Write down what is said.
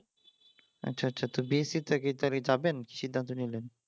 আচ্ছা আচ্ছা তো বিএসসি টা কি যাবেন সিদ্ধান্ত নিলেন